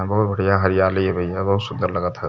बहुत बढ़िया हरियाली ह भईया बहुत सुन्दर लगत ह।